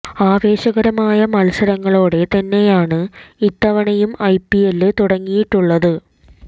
ആവേശകരമായ മത്സരങ്ങളോടെ തന്നെയാണ് ഇത്തവണയും ഐ പി എല് തുടങ്ങിയിട്ടുള്ളത്